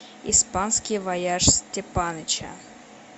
испанский вояж степаныча